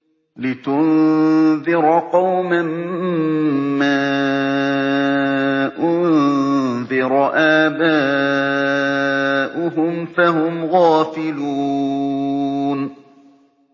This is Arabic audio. لِتُنذِرَ قَوْمًا مَّا أُنذِرَ آبَاؤُهُمْ فَهُمْ غَافِلُونَ